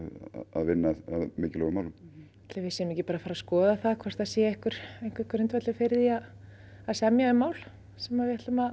að vinna að mikilvægum málum ætli við séum ekki að fara að skoða hvort það sé einhver grundvöllur fyrir því að semja um mál sem